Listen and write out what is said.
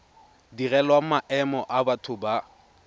direlwang maemo a batho ba